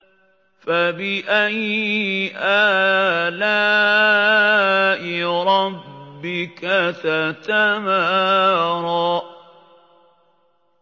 فَبِأَيِّ آلَاءِ رَبِّكَ تَتَمَارَىٰ